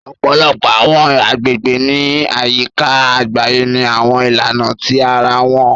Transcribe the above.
Ọ̀pọ̀lọpọ̀ àwọn àgbègbè ní àyíká àgbáyé ní àwọn ìlànà tí ara wọn